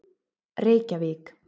Reykjavík